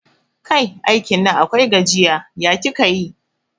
Kai, aikin Nan akwai gajiya, ya kika yi?